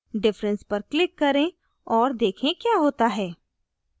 difference पर click करें और देखें क्या होता है